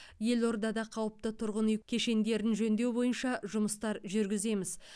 елордада қауіпті тұрғын үй кешендерін жөндеу бойынша жұмыстар жүргіземіз